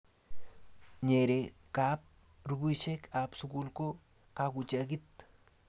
nyeree kab rupishek ab sukul ko kakuchakit